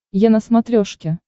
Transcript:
е на смотрешке